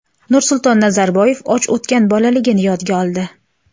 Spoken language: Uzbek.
Nursulton Nazarboyev och o‘tgan bolaligini yodga oldi.